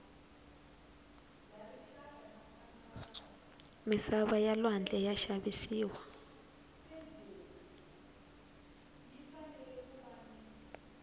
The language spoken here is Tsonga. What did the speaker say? misava ya lwandle ya xavisiwa